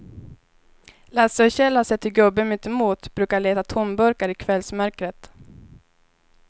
Lasse och Kjell har sett hur gubben mittemot brukar leta tomburkar i kvällsmörkret.